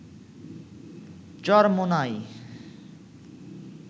Charmonai